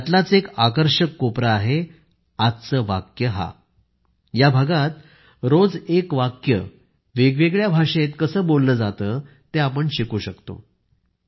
त्यातीलच एक आकर्षक कोपरा आहे आजचे वाक्य हा या भागात रोज एक वाक्य वेगवेगळ्या भाषेत कसे बोलले जाते तेआपण शिकू शकतो